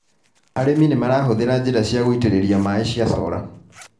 Arĩmĩ nĩmarahũthĩra njĩra cia gũitĩrĩrĩria maĩ cia sola.